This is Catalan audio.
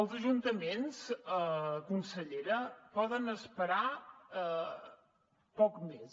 els ajuntaments consellera poden esperar poc més